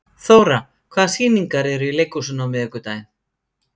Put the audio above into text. Þóra, hvaða sýningar eru í leikhúsinu á miðvikudaginn?